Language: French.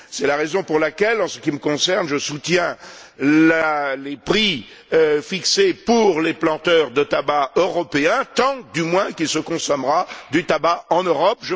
C'est la raison pour laquelle, en ce qui me concerne, je soutiens les prix fixés pour les planteurs de tabac européens, tant, du moins, qu'il se consommera du tabac en Europe.